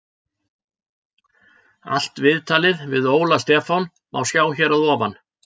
Allt viðtalið við Óla Stefán má sjá hér að ofan.